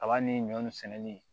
A b'a ni ɲɔ ni sɛnɛni